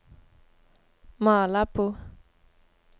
Malabo